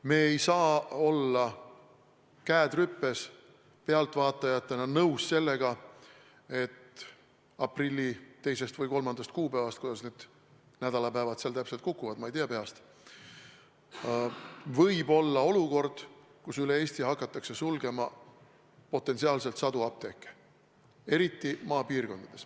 Me ei saa olla käed rüpes pealtvaatajatena nõus sellega, et aprilli 2. või 3. kuupäevast – kuidas need nädalapäevad seal täpselt kukuvad, ma ei tea peast – võib potentsiaalselt olla olukord, kus üle Eesti hakatakse sulgema sadu apteeke, eriti maapiirkondades.